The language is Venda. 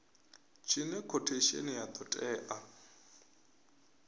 tshine khothesheni ya do tea